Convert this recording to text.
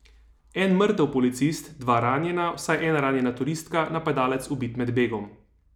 En mrtev policist, dva ranjena, vsaj ena ranjena turistka, napadalec ubit med begom.